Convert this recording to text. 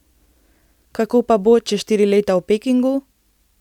Kako pa bo čez štiri leta v Pekingu?